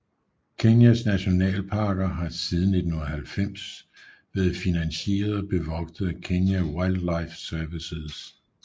Kenyas nationalparker har siden 1990 været finansieret og bevogtet af Kenya Wildlife Services